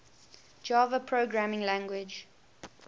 java programming language